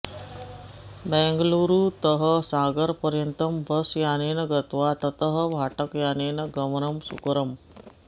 बेङ्गळूरुतः सागरपर्यन्तं बस् यानेन गत्वा ततः भाटकयानेन गमनं सुकरम्